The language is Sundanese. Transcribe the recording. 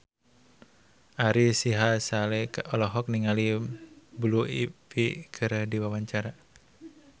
Ari Sihasale olohok ningali Blue Ivy keur diwawancara